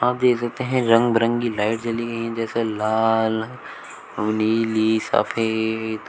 हम देख सकते हैं रंग बिरंगी लाइट जली गई है जैसे लाल नीली सफेद।